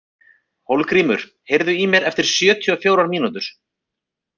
Hólmgrímur, heyrðu í mér eftir sjötíu og fjórar mínútur.